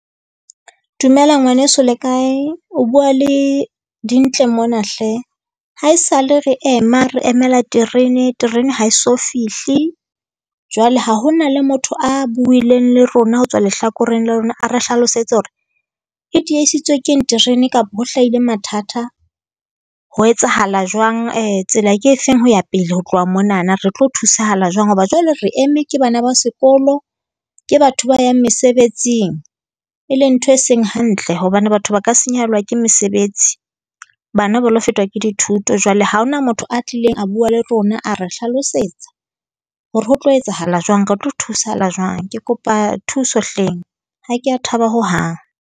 Dumela ngwaneso, le kae? O bua le Dintle mona hle. Ha e sa le re ema, re emela terene ha e so fihle. Jwale ha ho na le motho a buileng le rona ho tswa lehlakoreng la lona, a re hlalosetse hore e diehisitswe ke eng terene kapo ho hlahile mathatha. Ho etsahala jwang? Tsela ke efeng ho ya pele, ho tloha monana? Re tlo thusahala jwang hoba jwale re eme ke bana ba sekolo, ke batho ba yang mesebetsing, e leng ntho e seng hantle, hobane batho ba ka senyehellwa ke mesebetsi. Bana ba lo fetwa ka dithuto. Jwale ha hona motho a tlileng a bua le rona, a re hlalosetsa hore ho tlo etsahala jwang, re tlo thusahala jwang. Ke kopa thuso hleng. Ha ke a thaba hohang.